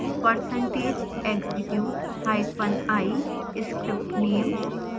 percentage execute hyphen i script name